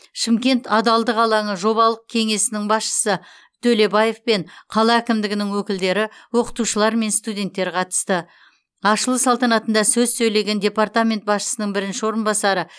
шымкент адалдық алаңы жобалық кеңесінің басшысы төлебаев пен қала әкімдігінің өкілдері оқытушылар мен студенттер қатысты ашылу салтанатында сөз сөйлеген департамент басшысының бірінші орынбасары